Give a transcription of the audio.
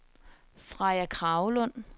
Freja Kragelund